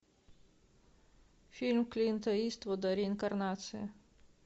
фильм клинта иствуда реинкарнация